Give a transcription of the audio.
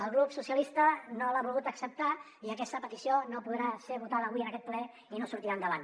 el grup socialistes no l’ha volgut acceptar i aquesta petició no podrà ser votada avui en aquest ple i no sortirà endavant